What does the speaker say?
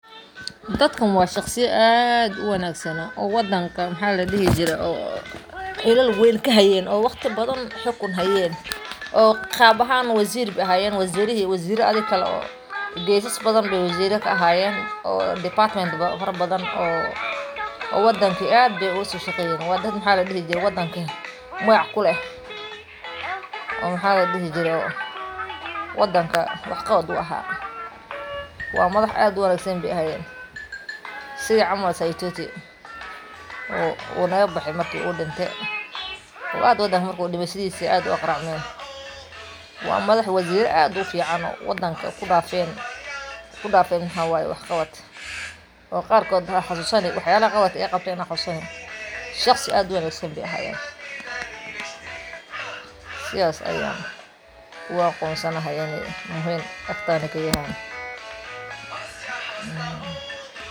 Dadkan waa shaqsiya waddanka shaqo weyn ka hayeen, waxayna door muhiim ah ka qaateen horumarinta bulshada iyo adeegyada dadweynaha. Tusaale ahaan, midkood wuxuu ka shaqayn jiray waxbarashada isagoo arday badan u horseeday guulo waxbarasho. Mid kalena wuxuu qayb libaax leh ka qaatay caafimaadka, isagoo ka shaqeeyay sidii dadka loogu heli lahaa adeeg caafimaad oo la isku halayn karo. Intaas waxaa dheer, hadaladooda iyo ficiladooda ayaa ka turjumaya waddaniyad iyo daacadnimo. Marka aan arko dadaalkooda iyo saamaynta ay bulshada ku leeyihiin, sidaas ayaan ku aqoonsan lahaa.